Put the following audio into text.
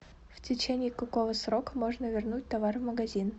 в течении какого срока можно вернуть товар в магазин